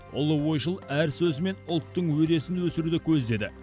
ұлы ойшыл әр сөзімен ұлттың өресін өсіруді көздеді